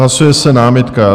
Hlasuje se námitka.